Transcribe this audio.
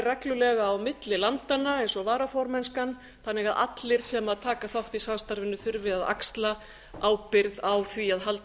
reglulega á milli landanna eins og varaformennskan þannig að allir sem taka þátt í samstarfinu þurfi að axla ábyrgð á því að halda